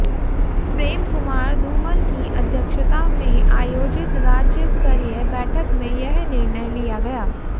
प्रेम कुमार धूमल की अध्यक्षता में आयोजित राज्यस्तरीय बैठक में यह निर्णय लिया गया